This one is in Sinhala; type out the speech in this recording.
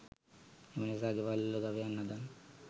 එනිසා ගෙවල් වල ගවයන් හදන්න